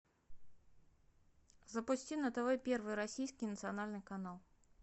запусти на тв первый российский национальный канал